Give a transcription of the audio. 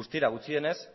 guztira gutxienez